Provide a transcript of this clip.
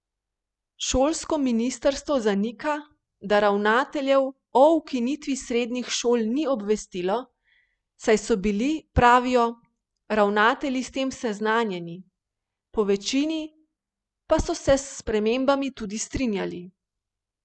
Šolsko ministrstvo zanika, da ravnateljev o ukinitvi srednjih šol ni obvestilo, saj so bili, pravijo, ravnatelji s tem seznanjeni, po večini pa so se s spremembami tudi strinjali.